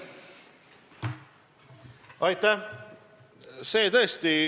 Aitäh!